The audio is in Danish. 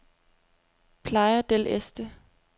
Playa del Este